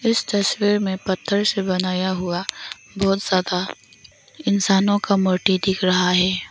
इस तस्वीर में पत्थर से बनाया हुआ बहुत ज्यादा इंसानों का मूर्ति दिख रहा है।